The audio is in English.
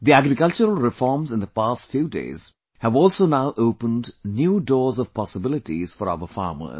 The agricultural reforms in the past few days have also now opened new doors of possibilities for our farmers